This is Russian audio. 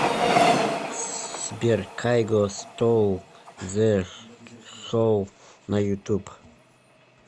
сбер кайго стол зе шоу на ютуб